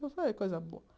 Foi coisa boa.